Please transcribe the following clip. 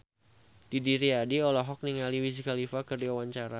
Didi Riyadi olohok ningali Wiz Khalifa keur diwawancara